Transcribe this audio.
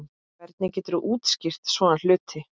Hvernig geturðu útskýrt svona hluti?